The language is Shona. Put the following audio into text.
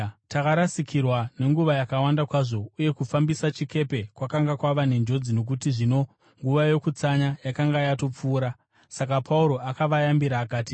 Takarasikirwa nenguva yakawanda kwazvo, uye kufambisa chikepe kwakanga kwava nenjodzi nokuti zvino Nguva Yokutsanya yakanga yatopfuura. Saka Pauro akavayambira akati,